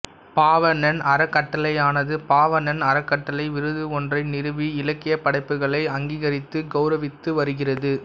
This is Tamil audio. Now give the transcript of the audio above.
பாவணன் அறக்கட்டளையானது பாவணன் அறக்கட்டளை விருது ஒன்றை நிறுவி இலக்கியப் படைப்புகளை அங்கீகரித்து கௌவுரவித்து வருகிறது